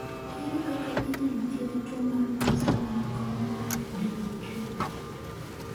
Ere kaka inyalo thiedh tuwo mar Meesmann corneal dystrophy?